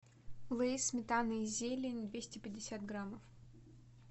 лейс сметана и зелень двести пятьдесят граммов